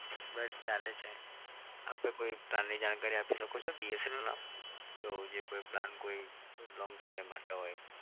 બસ ચાલે છે. આપડે કોઈ plan ની જાણકારી આપી શકો છો? BSNL નો તો જે કોઈ plan કોઈ long સમય માટે હોય?